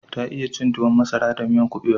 Ta iya cin tuwon masara da miyan kubewa